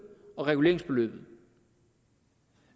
og reguleringsbeløbet